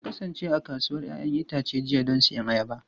Na kasance a kasuwar 'ya'yan itace jiya don siyan ayaba.